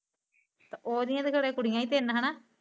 ਤੇ ਓਹ ਦਿਆਂ ਵੀਂ ਘਰੇ ਕੁੜੀਆਂ ਵੀ ਤਿੰਨ ਹੈਨਾ?